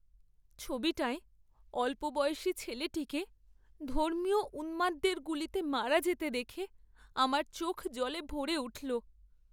ছবিটায় অল্পবয়সি ছেলেটিকে ধর্মীয় উন্মাদদের গুলিতে মারা যেতে দেখে আমার চোখ জলে ভরে উঠল।